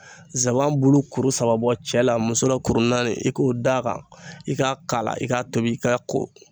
nsaban bulu kuru saba bɔ cɛ la musola kurun naani i k'o d'a kan i k'a k'a la i k'a tobi i ka ko